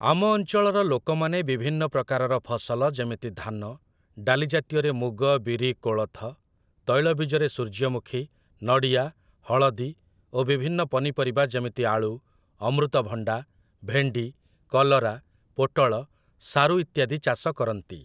ଆମ ଅଞ୍ଚଳର ଲୋକମାନେ ବିଭିନ୍ନ ପ୍ରକାରର ଫସଲ ଯେମିତି ଧାନ, ଡାଲି ଜାତୀୟରେ ମୁଗ, ବିରି, କୋଳଥ, ତୈଳବୀଜରେ ସୂର୍ଯ୍ୟମୁଖୀ, ନଡ଼ିଆ, ହଳଦୀ ଓ ବିଭିନ୍ନ ପନିପରିବା ଯେମିତି ଆଳୁ, ଅମୃତଭଣ୍ଡା, ଭେଣ୍ଡି, କଲରା, ପୋଟଳ, ସାରୁ ଇତ୍ୟାଦି ଚାଷ କରନ୍ତି।